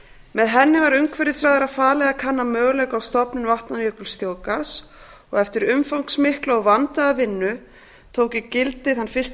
með henni var umhverfisráðherra falið að kanna möguleika á stofnun vatnajökulsþjóðgarðs eftir umfangsmikla og vandaða vinnu tóku gildi fyrsta